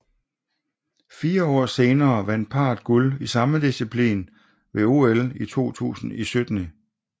Fire år senere vandt parret guld i samme disciplin ved OL 2000 i Sydney